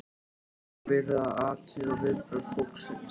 Þá var verið að athuga viðbrögð fólksins.